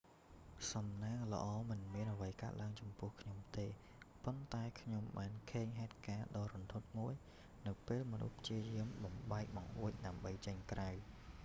សំណាងល្អ មិនមានអ្វីកើតឡើងចំពោះខ្ញុំទេ ប៉ុន្តែខ្ញុំបានឃើញហេតុការណ៍ដ៏រន្ធត់មួយនៅពេលមនុស្សព្យាយាមបំបែកបង្អួច ដើម្បីចេញក្រៅ